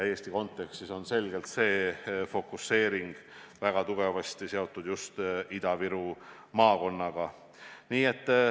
Eesti kontekstis on see fokuseering väga tugevasti seotud just Ida-Viru maakonnaga.